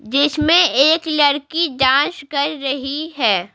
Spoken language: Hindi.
जिसमें एक लड़की डांस कर रही है।